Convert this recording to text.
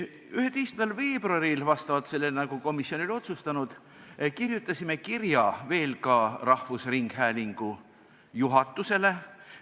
11. veebruaril, vastavalt sellele, nagu komisjon oli otsustanud, kirjutasime kirja ka rahvusringhäälingu juhatusele.